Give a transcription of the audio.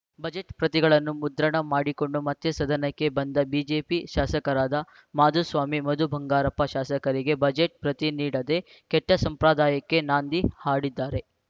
budget ಪ್ರತಿಗಳನ್ನು ಮುದ್ರಣ ಮಾಡಿಕೊಂಡು ಮತ್ತೆ ಸದನಕ್ಕೆ ಬಂದ ಬಿಜೆಪಿ ಶಾಸಕರಾದ ಮಾಧುಸ್ವಾಮಿ ಮಧು ಬಂಗಾರಪ್ಪ ಶಾಸಕರಿಗೆ ಬಜೆಟ್‌ ಪ್ರತಿ ನೀಡದೆ ಕೆಟ್ಟಸಂಪ್ರದಾಯಕ್ಕೆ ನಾಂದಿ ಹಾಡಿದ್ದೀರಿ